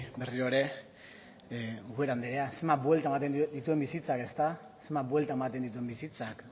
berriro ere ubera andrea zenbat buelta ematen dituen bizitzak ezta zenbat buelta ematen dituen bizitzak